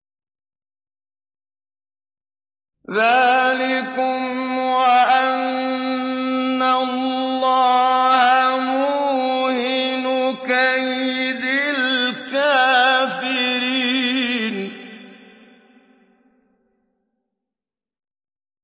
ذَٰلِكُمْ وَأَنَّ اللَّهَ مُوهِنُ كَيْدِ الْكَافِرِينَ